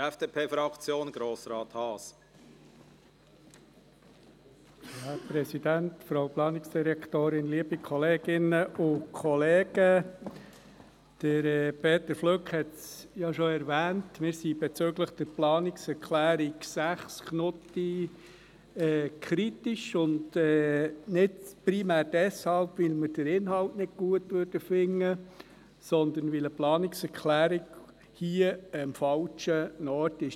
Wir haben eine kritische Haltung gegenüber der Planungserklärung 6, und zwar nicht primär deshalb, weil wir den Inhalt nicht gut finden, sondern weil das hier der falsche Ort für eine Planungserklärung ist.